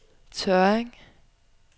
Tørring